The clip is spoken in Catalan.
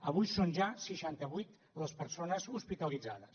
avui són ja seixanta vuit les persones hospitalitzades